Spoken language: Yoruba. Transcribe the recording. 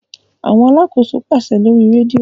Awọn alàkóso paṣẹ lórí redio